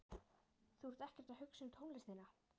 Þú ert ekkert að hugsa um tónlistina.